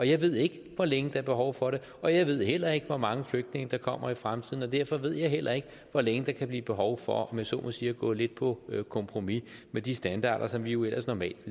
jeg ved ikke hvor længe er behov for det og jeg ved heller ikke hvor mange flygtninge der kommer i fremtiden og derfor ved jeg heller ikke hvor længe der kan blive behov for om jeg så må sige at gå lidt på kompromis med de standarder som vi jo ellers normalt